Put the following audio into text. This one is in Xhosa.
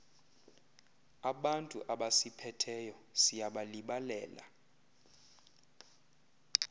abantu abasiphetheyo siyabalibalela